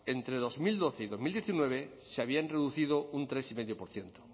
entre dos mil doce y dos mil diecinueve se habían reducido tres coma cinco por ciento